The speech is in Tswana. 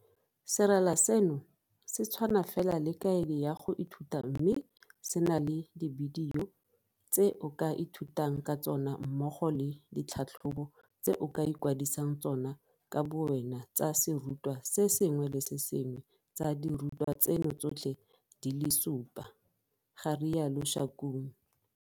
Serala seno se tshwana fela le kaedi ya go ithuta mme se na le dibidio tse o ka ithutang ka tsona mmogo le ditlhatlhobo tse o ikwadisang tsona ka bowena tsa serutwa se sengwe le se sengwe tsa dirutwa tseno tsotlhe di le supa, ga rialo Shakung.